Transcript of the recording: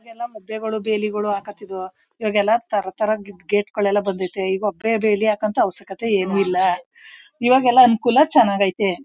ಮೊದ್ಲಲ್ಲ ಮೊಬ್ಬೆಗಳು ಬೇಲಿಗಳು ಹಾಕೊಂತಿದ್ವು ಈಗ ತರ ತರ ಗೇಟ್ಗಳು ಬಂದಿತೇ ಇವಗೆ ಬೇಲಿ ಹಾಂಕೊ ಅವಶ್ಯ ಏನು ಇಲ್ಲ ಇವಾಗೆಲ್ಲ ಅನುಕೂಲ ಚೆನ್ನಾಗ್ ಐತೆ.